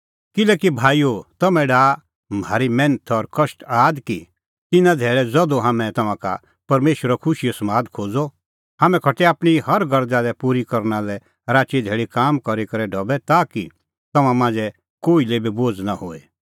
किल्हैकि भाईओ तम्हैं डाहा म्हारी मैन्थ और कष्ट आद कि तिन्नां धैल़ै ज़धू हाम्हैं तम्हां का परमेशरो खुशीओ समाद खोज़अ हाम्हैं खटै आपणीं हर गरज़ा पूरी करना लै राची धैल़ी काम करी करै ढबै ताकि तम्हां मांझ़ै कोही लै बी बोझ़ नां होए